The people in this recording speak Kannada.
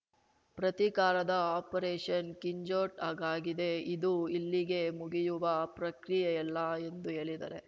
ಪ್ರತೀಕಾರದ ಆಪರೇಷನ್‌ ಕಿಂಜೌಡ್ ಆಗಾಗಿದೆ ಇದು ಇಲ್ಲಿಗೆ ಮುಗಿಯುವ ಪ್ರಕ್ರಿಯೆಯಲ್ಲ ಎಂದು ಹೇಳಿದರೆ